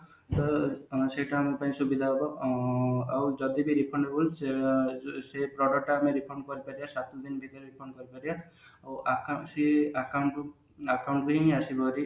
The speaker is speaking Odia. ତ ସେଇଟା ଆମ ପାଇଁ ସୁବିଧା ହେବ ଆଁ ଆଉ ଯଦି ବି refundable ସେ ଅ ଏ product ଟା ଆମେ refund କରିପାରିବା ସାତଦିନ ଭିତରେ refund କରିପାରିବା ଆଉ ଅକା account କୁ account ରେ ହିଁ ଆସିବ